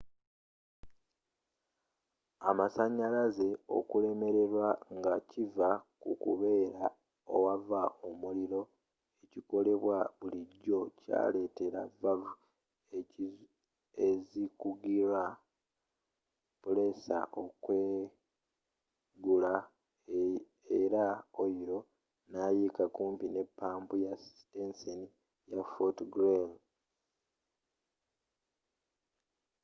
amasanyalaze okulemererwa nga kiva mu kukebera owava omuliro ekikolebwa bulijjo kyaleetera valuvu ezikugira puleesa okweggula era oyiro nayiika kumpi ne pampu ya siteseni ya fort greely